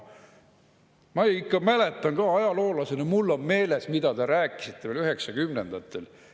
Ma ikka mäletan ajaloolasena, mul on meeles, mida te rääkisite veel 1990-ndatel.